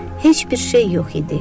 Heç bir şey yox idi.